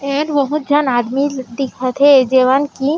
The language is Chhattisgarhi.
एंड बहुत झन आदमी दिखत हे जेवन की--